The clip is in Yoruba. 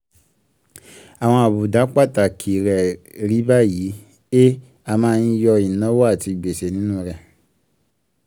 àwọn àbùdá pàtàkì rẹ̀ rí báyìí: (a) a máa ń yọ ináwo àti gbèsè nínu rẹ̀.